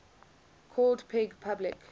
called peg public